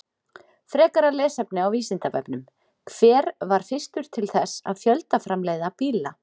Frekara lesefni á Vísindavefnum: Hver var fyrstur til þess að fjöldaframleiða bíla?